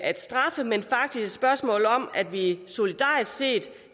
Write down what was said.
at straffe men faktisk et spørgsmål om at vi solidarisk set